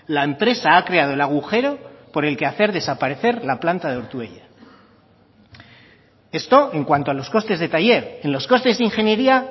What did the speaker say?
la empresa ha creado el agujero por el que hacer desaparecer la planta de ortuella esto en cuanto a los costes de taller en los costes de ingeniería